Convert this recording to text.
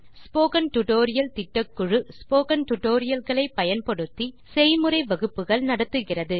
spoken tutorial திட்டக்குழு spoken tutorial களை பயன்படுத்தி செய்முறை வகுப்புகள் நடத்துகிறது